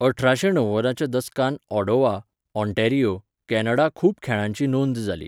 अठराशे णव्वदाच्या दसकांत ऑडोवा, ऑंटॅरियो, कॅनडा खूब खेळांची नोंद जाली.